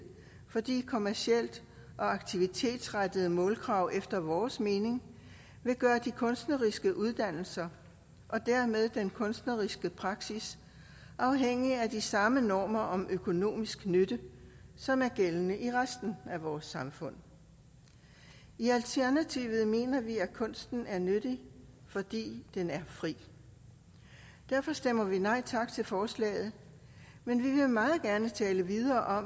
fordi kommercielle og aktivitetsrettede målkrav efter vores mening vil gøre de kunstneriske uddannelser og dermed den kunstneriske praksis afhængige af de samme normer om økonomisk nytte som er gældende i resten af vores samfund i alternativet mener vi at kunsten er nyttig fordi den er fri derfor stemmer vi nej tak til forslaget men vi vil meget gerne tale videre om